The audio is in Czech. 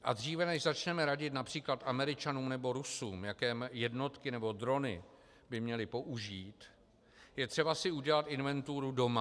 A dříve než začneme radit například Američanům nebo Rusům, jaké jednotky nebo drony by měli použít, je třeba si udělat inventuru doma.